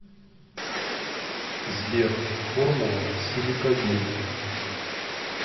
сбер формула силикагель